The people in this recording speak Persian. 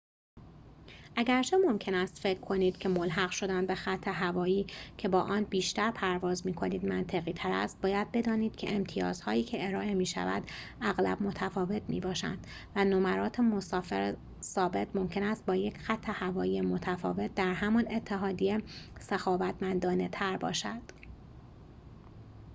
اگرچه ممکن است فکر کنید که ملحق شدن به خط‌هوایی که با آن بیشتر پرواز می‌کنید منطقی‌تر است باید بدانید که امتیازهایی که ارائه می‌شود اغلب متفاوت می‌باشند و نمرات مسافر ثابت ممکن است با یک خط‌هوایی متفاوت در همان اتحادیه سخاوتمندانه‌تر باشد